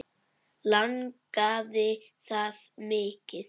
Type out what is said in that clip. Langaði það mikið.